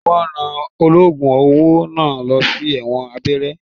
Wọn rán ológun owó náà lọ sí ẹ̀wọ̀n àgbéré.